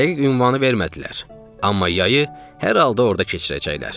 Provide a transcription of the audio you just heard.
Dəqiq ünvanı vermədilər, amma yayı hər halda orda keçirəcəklər.